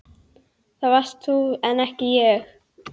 Það varst þú en ekki ég.